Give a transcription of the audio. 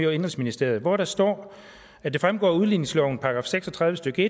og indenrigsministeriet hvor der står at det fremgår af udligningsloven § seks og tredive stykke